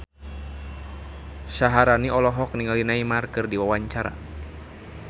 Syaharani olohok ningali Neymar keur diwawancara